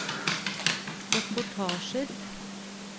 reportasjer